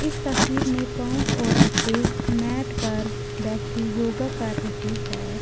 इस तस्वीर में पांच औरते मैट पर बैठी योगा कर रही है।